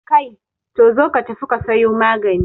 Kai, zo ka tafi ka sayo magani